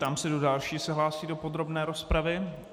Ptám se, kdo další se hlásí do podrobné rozpravy.